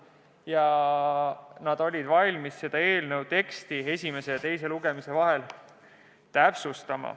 Algatajad olid valmis eelnõu teksti esimese ja teise lugemise vahel täpsustama.